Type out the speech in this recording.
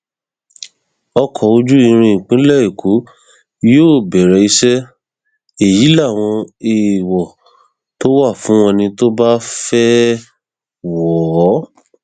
ọkọ ojú irin ìpínlẹ èkó yóò bẹrẹ iṣẹ èyí láwọn èèwọ tó wà fún ẹni tó bá fẹẹ wọ ọ